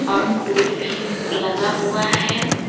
और टूल भी लगा हुआ है।